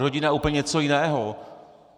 Rodina je úplně něco jiného.